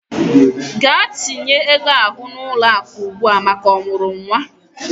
Gaa tinye ego ahụ n'ụlọakụ ugbua maka ọmụrụ nwa!